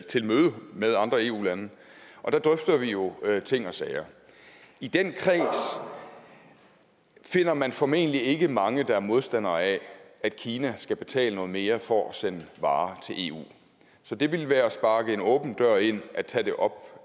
til møde med andre eu lande og der drøfter vi jo ting og sager i den kreds finder man formentlig ikke mange der er modstandere af at kina skal betale noget mere for at sende varer til eu så det ville være at sparke en åben dør ind at tage det op